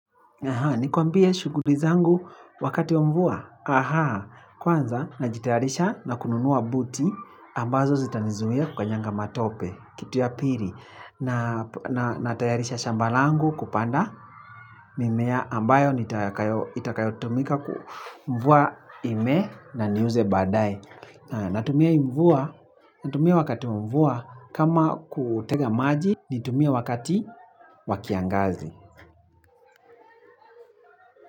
Nikuambie shughuli zangu wakati wa mvua, kwanza najitayarisha na kununua buti, ambazo zitanizuia kukanyanga matope, kitu ya piri. Na tayarisha shamba langu kupanda mimea ambayo itakayotumika kumvua imee na niuze baadaye. Natumia hii mvua, natumia wakati wa mvua, kama kutega maji nitumie wakati wa kiangazi.